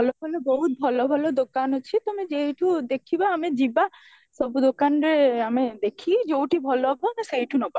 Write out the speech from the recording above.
ଭଲ ଭଲ ବହୁତ ଭଲ ଭଲ ଦୁକାନ ଅଛି ଆମେ ଯୋଉଠି ଦେଖିବା ଆମେ ଯିବା ସବୁ ଦୋକାନ ରେ ଆମେ ଦେଖି ଯୋଉଠି ଭଲ ହବ ସେଇଠୁ ନବା